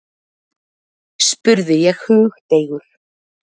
spurði ég hugdeigur.